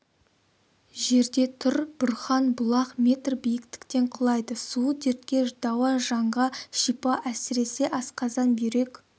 жерде тұр бұрхан бұлақ метр биіктіктен құлайды суы дертке дауа жанға шипа әсіресе асқазан бүйрек